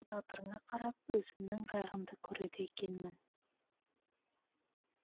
тағдырыңа қарап өзімнің қайғымды көреді екенмін